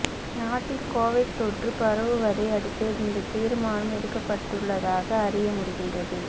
நாட்டில் கொவிட் தொற்று பரவுவதை அடுத்தே இந்த தீர்மானம் எடுக்கப்பட்டுள்ளதாக அறிய முடிகின்றது